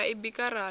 ra i bika ra ḽa